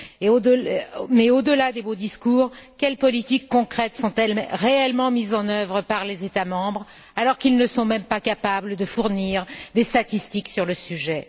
Au delà des beaux discours, quelles politiques concrètes sont elles réellement mises en œuvre par les États membres, alors qu'ils ne sont même pas capables de fournir des statistiques sur le sujet?